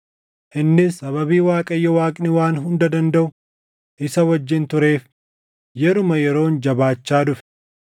Innis sababii Waaqayyo Waaqni Waan Hunda Dandaʼu isa wajjin tureef yeruma yeroon jabaachaa dhufe.